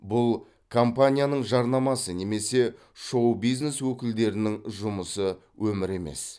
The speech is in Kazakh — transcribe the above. бұл компанияның жарнамасы немесе шоу бизнес өкілдерінің жұмысы өмірі емес